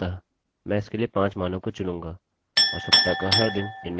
अतः मैं इसके लिए 5 मानों को चुनूँगा और सप्ताह का हर दिन इनमें से प्रत्येक के भीतर होगा